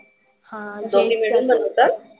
दोघी मिळून बनवतात?